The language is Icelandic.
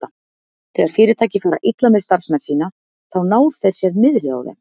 Þegar fyrirtæki fara illa með starfsmenn sína, þá ná þeir sér niðri á þeim.